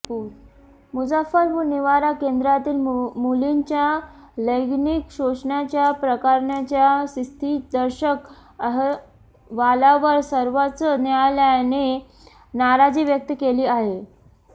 मुजफ्फरपूर निवारा केंद्रातील मुलींच्या लैंगिक शोषणाच्या प्रकरणाच्या स्थितीदर्शक अहवालावर सर्वोच्च न्यायालयाने नाराजी व्यक्त केली आहे